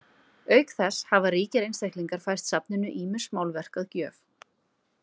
Auk þess hafa ríkir einstaklingar fært safninu ýmis málverk að gjöf.